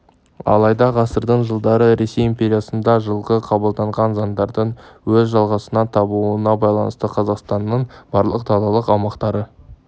алайда ғасырдың жылдары ресей империясында жылғы қабылданған заңдардың өз жалғасын табуына байланысты қазақстанның барлық далалық аумақтары